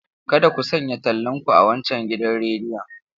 Kada ku sanya tallanku a wancan gidan rediyon.